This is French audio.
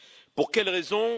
Pour quelle raison?